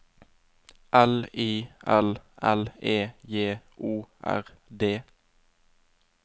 L I L L E J O R D